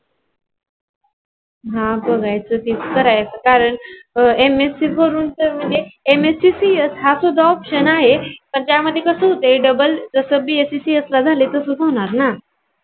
हा बघायच की करायच. कारण MSC करून ती MSCCS हा सुद्धा option आहे. पण त्या मध्ये कस होते. double जस BSCCS ला झाल तसच होणार ना.